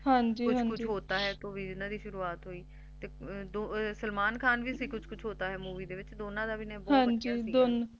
Kuch kuch Hota Hai ਤੋ ਹੀ ਇਹਨਾ ਦੀ ਸ਼ੁਰੂਆਤ ਹੋਈ ਤੇ ਸਲਮਾਨ ਖਾਨ ਵੀ ਸੀ kuch kuch Hota Hai Film ਵਿੱਚ ਦੋਨਾਂ ਦਾ ਅਭਿਨੈ ਬਹੁਤ ਵਧੀਆ ਸੀ